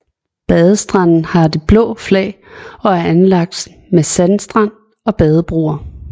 Badestranden har det blå flag og er anlagt med sandstrand og badebroer